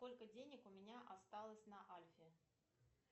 сколько денег у меня осталось на альфе